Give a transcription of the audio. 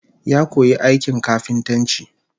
Ya koyi aikin kafintanci